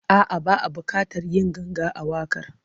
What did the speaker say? A'a, ba a buƙatar yin ganga a waƙar.